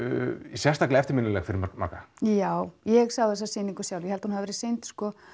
sérstaklega eftirminnileg fyrir marga já ég sá þessa sýningu sjálf ég held að hún hafi verið sýnd